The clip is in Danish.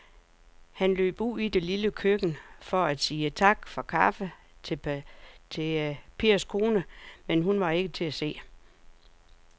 Han løb ud i det lille køkken for at sige tak for kaffe til Pers kone, men hun var ikke til at se.